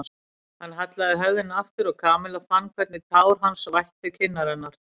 Hann hallaði höfðinu aftur og Kamilla fann hvernig tár hans vættu kinnar hennar.